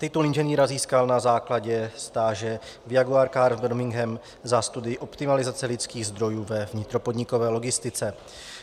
Titul inženýra získal na základě stáže v Jaguar Car Birmingham za studii optimalizace lidských zdrojů ve vnitropodnikové logistice.